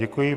Děkuji.